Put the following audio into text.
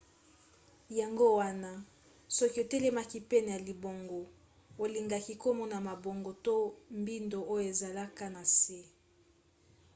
yango wana soki otelemaki pene ya libongo olingaki komona mabongo to mbindo oyo ezalaka na se